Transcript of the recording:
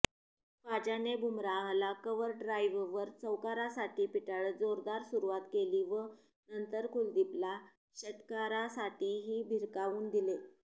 ख्वाजाने बुमराहला कव्हरड्राईव्हवर चौकारासाठी पिटाळत जोरदार सुरुवात केली व नंतर कुलदीपला षटकारासाठीही भिरकावून दिले